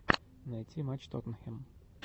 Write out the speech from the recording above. найти матч тоттенхэм